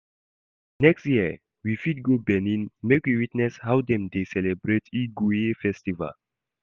Next year, we fit go Benin make we witness how dem dey celebrate Igue festival.